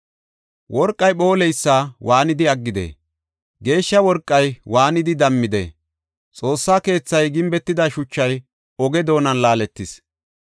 Worqey phooleysa waanidi aggidee? geeshsha worqay waanidi dammidee? Xoossa keethay gimbetida shuchay oge doonan laaletis.